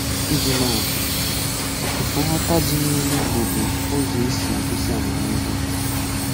Ịji maa atụ, ofụfu nghọta dị n’ìlù Ìgbò bụ ụzọ e si egosi amamihe.